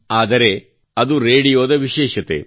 ಆದರೆ ರೇಡಿಯೋದ ವಿಶೇಷತೆ